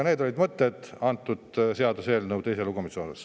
Need olid mõned mõtted seoses selle seaduseelnõu teise lugemisega.